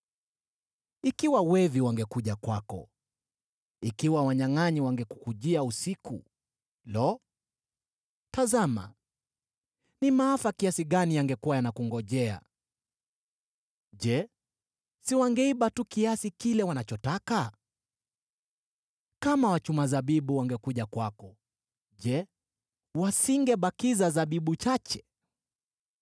“Ikiwa wevi wangekuja kwako, ikiwa wanyangʼanyi wangekujia usiku: Lo! Tazama ni maafa kiasi gani yangekuwa yanakungojea: je, si wangeiba tu kiasi ambacho wangehitaji? Kama wachuma zabibu wangekuja kwako, je, wasingebakiza zabibu chache?